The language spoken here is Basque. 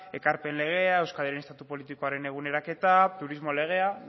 ekarpen legea euskal herriaren estatu politikoaren eguneraketa turismo legea